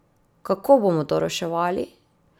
Kako bomo to reševali?